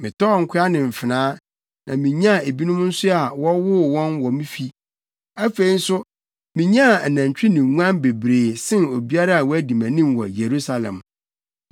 Metɔɔ nkoa ne mfenaa, na minyaa ebinom nso a wɔwoo wɔn wɔ me fi. Afei nso, minyaa anantwi ne nguan bebree sen obiara a wadi mʼanim wɔ Yerusalem.